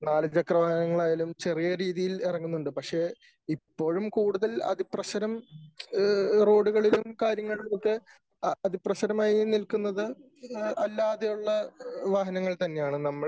നാല് ചക്ര വാഹനങ്ങൾ ആയാലും ചെറിയ രീതിയിൽ ഇറങ്ങുന്നുണ്ട് . പക്ഷേ ഇപ്പോഴും കൂടുതൽ അതിപ്രസരം റോഡുകളിലും കാര്യങ്ങളിലുമൊക്കെ അതിപ്രസരമായി നിൽക്കുന്നത് അല്ലാതെ ഉള്ള വാഹനങ്ങൾ തന്നെയാണ് .